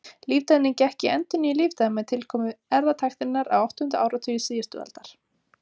Líftæknin gekk í endurnýjun lífdaga með tilkomu erfðatækninnar á áttunda áratugi síðustu aldar.